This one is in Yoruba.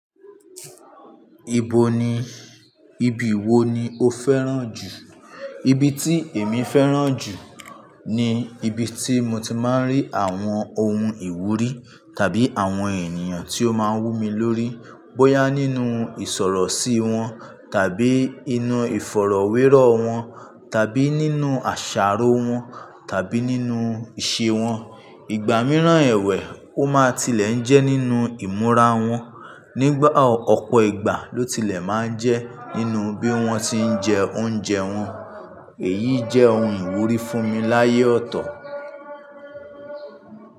Ibo ni, ibi wo ni o fẹ́ràn jù? Ibi tí èmi fẹ́ràn jù ni ibi tí mo ti máa ń rí àwọn ohun ìwúrí tàbí àwọn ènìyàn tí ó máa ń wú mi lórí. Bóyá nínú ìsọ̀rọ̀sí wọn tàbí inú ìfọ̀rọ̀wérọ̀ wọn tàbí nínú àṣàrò wọn tàbí nínú ìṣe wọn. Ìgbà mìíràn ẹ̀wẹ̀ ó máa tilẹ̀ ń jẹ́ nínú ìmúra wọn. Nígbà ọ̀pọ̀ ìgbà ló tilẹ̀ máa ń jẹ́ nínú bí wọ́n ti ń jẹ oúnjẹ wọn. Èyí jẹ́ ohun ìwúrí fún mi láyé ọ̀tọ̀.